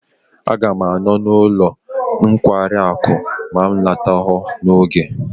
Aga m anọ n'ọnụ ụlọ nkwari akụ ma m alọtaghi n'oge.